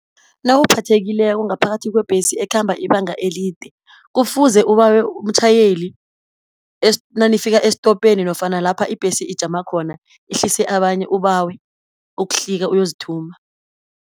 Nawuphathekileko ngaphakathi kwebhesi ekhamba ibanga elide, kufuze ubawe umtjhayeli nanifika estopeni nofana lapha ibhesi ijama khona ihlise abanye, ubawe ukuhlika uyozithuma.